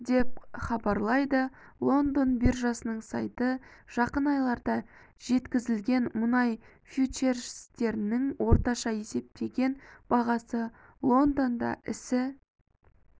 деп хабарлайды лондон биржасының сайты жақын айларда жеткізілетін мұнай фьючерстерінің орташа есептеген бағасы лондонда ісі